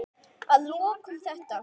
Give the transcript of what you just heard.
Að lokum þetta.